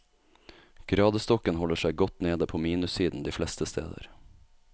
Gradestokken holder seg godt nede på minussiden de fleste steder.